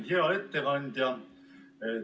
Hea ettekandja!